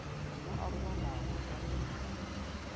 mo a robalago ka ge